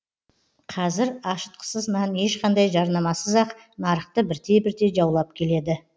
қазір ашытқысыз нан ешқандай жарнамасыз ақ нарықты бірте бірте жаулап келеді